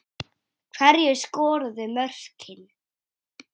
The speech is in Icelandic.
Hverjir skoruðu mörkin?